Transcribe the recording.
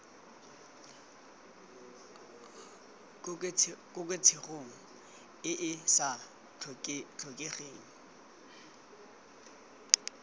koketsegong e e sa tlhokegeng